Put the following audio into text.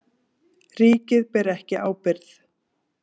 Ríkið ber ekki ábyrgð